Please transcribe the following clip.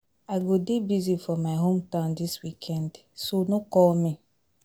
I go dey busy for my home town dis weekend so no call me